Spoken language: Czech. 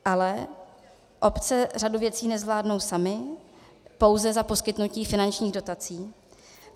Ale obce řadu věcí nezvládnou samy pouze za poskytnutí finančních dotací.